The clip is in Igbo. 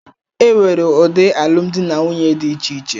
E nwere ụdị alụmdi na nwunye dị iche iche